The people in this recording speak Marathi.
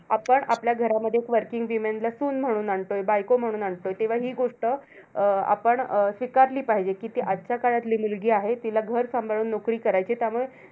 आपण आपल्या घरामध्ये एक working woman ला सून म्हणून आणतोय. बायको म्हणून आणतोय. तेव्हा हि गोष्ट अं आपण अं स्वीकारली पाहिजे, कि ती आजच्या काळातली मुलगी आहे, तिला घर सांभाळून नोकरी करायचीय. त्यामुळे